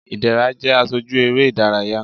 ìdẹrá jẹ aṣoju eré idàráyá